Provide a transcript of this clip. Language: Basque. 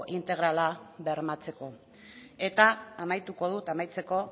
integrala bermatzeko eta amaituko dut amaitzeko